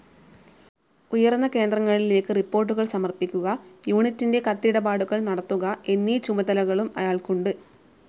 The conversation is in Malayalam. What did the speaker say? ഉയർന്ന കേന്ദ്രങ്ങളിലേക്കു റിപ്പോർട്ടുകൾ സമർപ്പിക്കുക, യൂണിറ്റിന്റെ കത്തിടപാടുകൾ നടത്തുക എന്നീ ചുമതലകളും അയാൾക്കുണ്ട്.